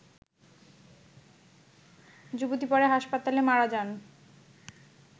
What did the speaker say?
যুবতী পরে হাসপাতালে মারা যান